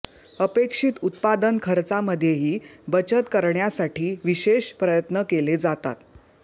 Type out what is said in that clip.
अपेक्षित उत्पादन खर्चामध्येही बचत करण्यासाठी विशेष प्रयत्न केले जातात